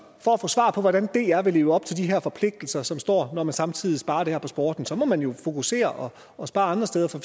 for at få svar på hvordan dr vil leve op til de her forpligtelser som der står når man samtidig sparer det her på sporten så må man jo fokusere og spare andre steder for